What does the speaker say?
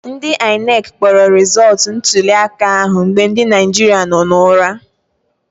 Ndị INEC kpọrọ rịzọtụ ntuliaka ahụ mgbe ndị Naijiria nọ n'ụra